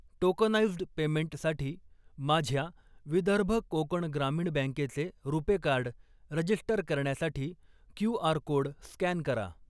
Tokenised पेमेंटसाठी माझ्या विदर्भ कोकण ग्रामीण बँकेचे रुपे कार्ड रजीस्टर करण्यासाठी क्यू.आर. कोड स्कॅन करा.